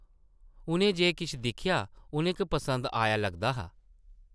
उʼनें जे किश दिक्खेआ उʼनें गी पसंद आया लगदा हा ।